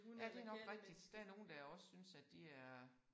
Ja det nok rigtigt. Der er nogen der også synes at de er